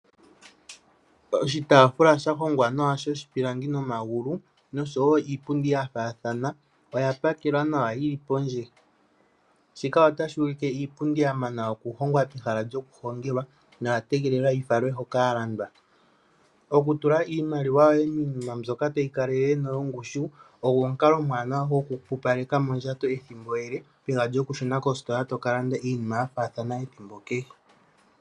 Oshitaafula sha hongwa nawa shoshipilangi nomagulu noshowo iipundi yafaathana oya pakelwa nawa yi li pondje, shika otashi ulike iipundi ya manwa oku hongwa pehala lyokuhongelwa noya tegelela yi falwe hoka ya landwa. Oku tula iimaliwa yoye miinima mbyoka tayi kalele noyongushu ogo omukalo omwaaanawa gokupupaleka mondjato ethimbo ele peha lyo ku shuna kostola to kalanda iinima yafaathana ethimbo kehe.